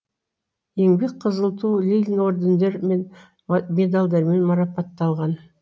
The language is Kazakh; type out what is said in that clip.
еңбек қызыл ту ленин ордендері мен медальдармен марапатталған